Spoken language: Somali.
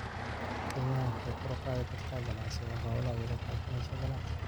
Kenya waxay kor u qaadi kartaa ganacsiga xoolaha iyadoo la kaashanayo ganacsi.